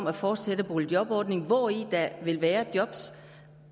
at fortsætte boligjorbordningen hvori der vil være jobs